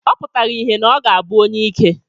Ọ pụtara ìhè na ọ ga-abụ onyeike.